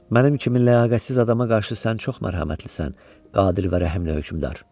Mənim kimi ləyaqətsiz adama qarşı sən çox mərhəmətlisən, qadir və rəhimli hökmdar.